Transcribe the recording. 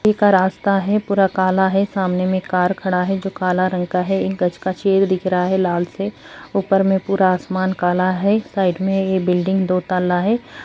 का रास्ता है पूरा काला है सामने मे एक कार खड़ा है जो काला रंग का है एक गज का छेद दिख रहा है लाल से ऊपर में पूरा आसमान काला है एक साइड मे एक बिल्डिंग दो ताला है ।